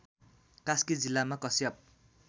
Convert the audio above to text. कास्की जिल्लामा कश्यप